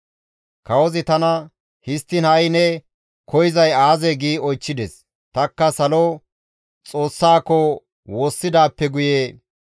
Kawozi tana, «Histtiin ha7i ne koyzay aazee?» gi oychchides; tanikka Salo Xoossaako woossidaappe guye,